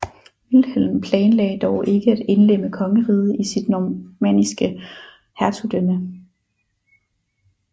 Vilhelm planlagde dog ikke at indlemme kongeriget i sit normanniske hertugdømme